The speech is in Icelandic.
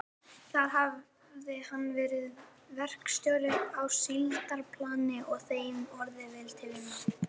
Þar hafði hann verið verkstjóri á síldarplani og þeim orðið vel til vina.